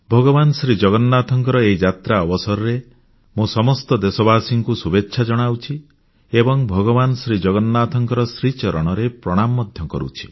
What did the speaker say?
ଭଗବାନ ଜଗନ୍ନାଥଙ୍କ ଏହି ଯାତ୍ରା ଅବସରରେ ମୁଁ ସମସ୍ତ ଦେଶବାସୀଙ୍କୁ ଶୁଭେଚ୍ଛା ଜଣାଉଛି ଏବଂ ଭଗବାନ ଜଗନ୍ନାଥଙ୍କ ଶ୍ରୀଚରଣରେ ପ୍ରଣାମ ମଧ୍ୟ କରୁଛି